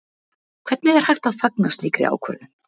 Hvernig er hægt að fagna slíkri ákvörðun?